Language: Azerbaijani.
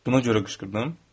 Buna görə qışqırdım.